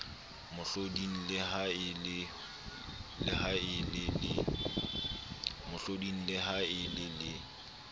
mohloding le ha e le